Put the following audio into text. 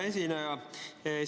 Hea esineja!